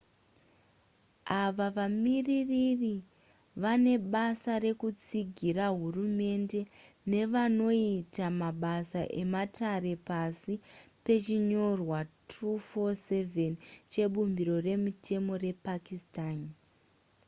ava vamiririri vane basa rekutsigira hurumende nevanoita mabasa ematare pasi pechinyorwa 247 chebumbiro remutemo repakistan